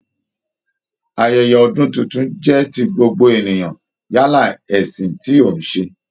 Ayẹyẹ ọdun tuntun jẹ ti gbogbo ènìyàn yálà ẹṣin ti o n ṣe.